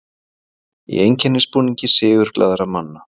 Í einkennisbúningi sigurglaðra manna.